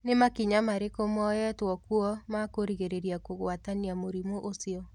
Nĩ makinya marĩkũ moyetwo kuo ma kũgirĩrĩria kũgwatatania mũrimũ ũcio?